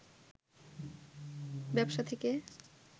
ব্যবসা থেকে